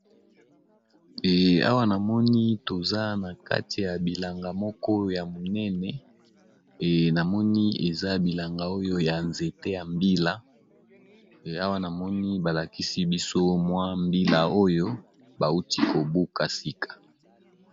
eawa namoni toza na kati ya bilanga moko ya monene e namoni eza bilanga oyo ya nzete yambiaeawa namoni balakisi biso mwa mbila oyo bauti kobuka sika